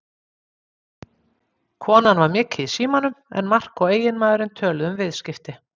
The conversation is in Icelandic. Konan var mikið í símanum en Mark og eiginmaðurinn töluðu um viðskipti.